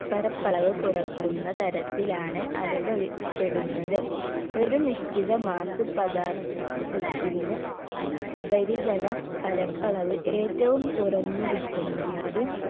പരപ്പളവ് കുറക്കുന്ന തരത്തിലാണ് അനുഭവി പ്പെടുന്നത് ഒരു നിശ്ചിത മാസ പദാർ ത്ഥത്തിന് ഉപരിതല പരപ്പളവ് ഏറ്റവും കുറഞ്ഞിരിക്കുന്നത്